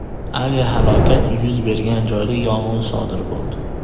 Aviahalokat yuz bergan joyda yong‘in sodir bo‘ldi.